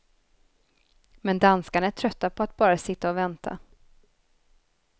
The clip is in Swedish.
Men danskarna är trötta på att bara sitta och vänta.